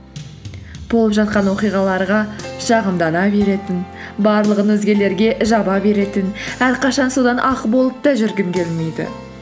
болып жатқан оқиғаларға шығымдана беретін барлығын өзгелерге жаба беретін әрқашан судан ақ болып та жүргім келмейді